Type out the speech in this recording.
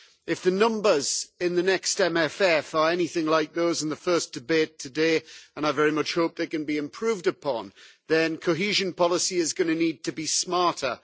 If the numbers in the next MFF are anything like those in the first debate today and I very much hope that they can be improved upon then cohesion policy is going to need to be smarter.